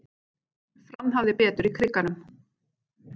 Fram hafði betur í Krikanum